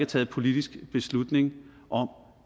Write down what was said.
taget politisk beslutning om